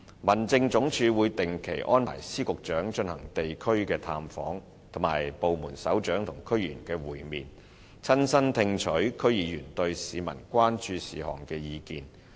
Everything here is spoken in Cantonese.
民政總署會定期安排司局長進行地區探訪，以及安排部門首長與區議員會面，親身聽取區議員對市民關注事項的意見。